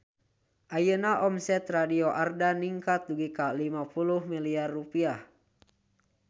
Ayeuna omset Radio Ardan ningkat dugi ka 50 miliar rupiah